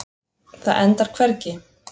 Það endar hvergi.